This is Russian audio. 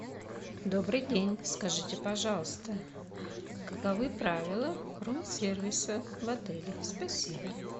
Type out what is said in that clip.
добрый день скажите пожалуйста каковы правила рум сервиса в отеле спасибо